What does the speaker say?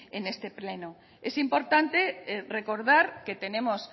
en este pleno es importante recordar que tenemos